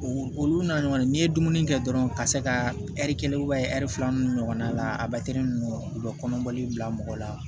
Olu n'a ɲɔgɔn n'i ye dumuni kɛ dɔrɔn ka se ka ɛri kelen ɛri fila nun ɲɔgɔn na la a u bɛ kɔnɔbali bila mɔgɔ la